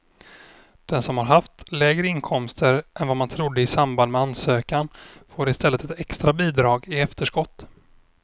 Den som har haft lägre inkomster än vad man trodde i samband med ansökan får i stället ett extra bidrag i efterskott.